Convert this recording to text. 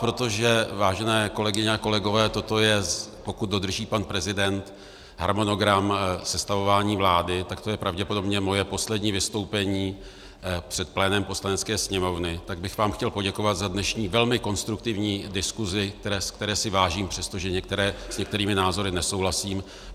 Protože, vážené kolegyně a kolegové, toto je, pokud dodrží pan prezident harmonogram sestavování vlády, tak to je pravděpodobně moje poslední vystoupení před plénem Poslanecké sněmovny, tak bych vám chtěl poděkovat za dnešní velmi konstruktivní diskusi, které si vážím přesto, že s některými názory nesouhlasím.